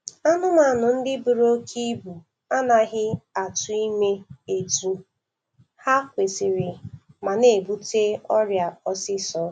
Anụmanụ ndị buru oke ibu anaghị atụ ime etu ha kwesiri mà na-ebute ọrịa osisọ